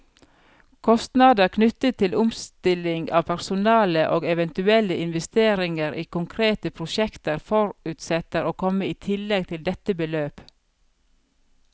Kostnader knyttet til omstilling av personale, og eventuelle investeringer i konkrete prosjekter, forutsettes å komme i tillegg til dette beløp.